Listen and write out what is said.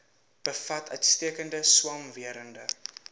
bevat uitstekende swamwerende